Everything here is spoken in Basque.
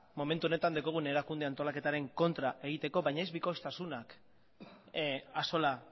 momentu honetan daukagun erakunde antolaketaren kontra egiteko baina ez bikoiztasunak axola